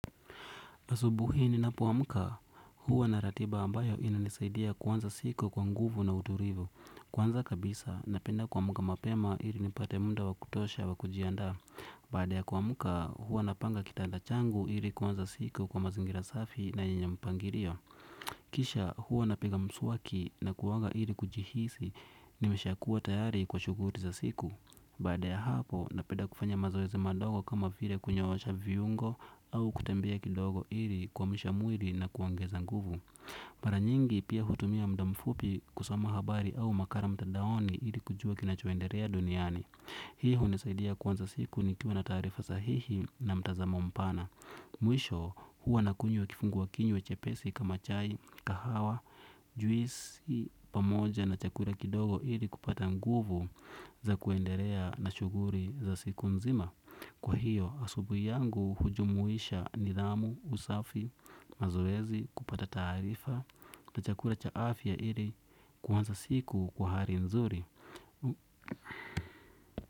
Asubuhi ni napo amka huwa na ratiba ambayo ina nisaidia kuanza siku kwa nguvu na uturivu. Kwanza kabisa na penda kuamka mapema ili nipate munda wakutosha wakujia ndaa. Baada ya kuamka huwa napanga kitanda changu ili kuanza siku kwa mazingira safi na yenye mpangirio. Kisha huwa napiga mswaki na kuoga ili kujihisi nimesha kuwa tayari kwa shuguri za siku. Baada ya hapo, napenda kufanya mazoezi madogo kama vile kunyoosha viungo au kutembia kidogo ili kuamsha mwiri na kuongeza nguvu. Para nyingi, pia hutumia mdamfupi kusoma habari au makara mtadaoni ili kujua kinacho enderea duniani. Hii huni saidia kuanza siku ni kiwa na taarifa sahihi na mtazamo mpana. Mwisho, huwa na kunywa kifungua kinywa chepesi kama chai, kahawa, juisi, pamoja na chakura kidogo ili kupata nguvu za kuenderea na shuguri za siku nzima. Kwa hiyo asubuhi yangu hujumuisha nidhamu, usafi, mazoezi, kupata taarifa na chakura cha afya ili kuanza siku kwa hali nzuri.